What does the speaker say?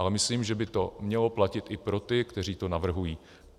Ale myslím, že by to mělo platit i pro ty, kteří to navrhují.